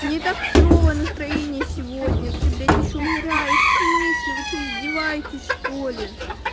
мне и так херовое настроение сегодня ты блять ещё умираешь в смысле вы что издеваетесь что-ли